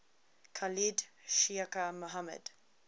khalid sheikh mohammed